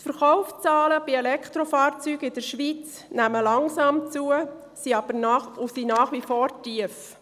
In der Schweiz nehmen die Verkaufszahlen bei Elektrofahrzeugen langsam zu, sind aber nach wie vor tief.